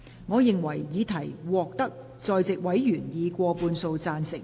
我認為議題獲得在席委員以過半數贊成。